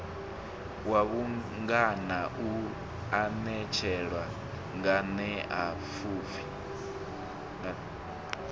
wa vhungana u anetshela nganeapfufhi